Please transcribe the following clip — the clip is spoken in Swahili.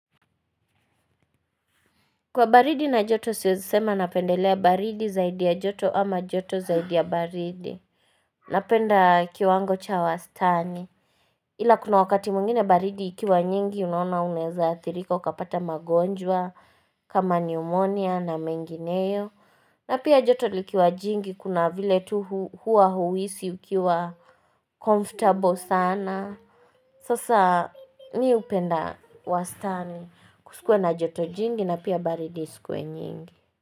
Kwa baridi na joto siwezi sema napendelea baridi zaidi ya joto ama joto zaidi ya baridi Napenda kiwango cha wastani Ila kuna wakati mwingine baridi ikiwa nyingi unaona uneza athirika ukapata magonjwa kama pneumonia na mengineo na pia joto likiwa jingi kuna vile tu hua huhisi ukiwa comfortable sana Sasa mi upenda wastani kusikuwe na joto jingi na pia baridi isikuwe nyingi.